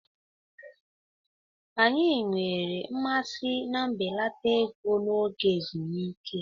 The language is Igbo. Anyị nwere mmasị na mbelata ego n'oge ezumike.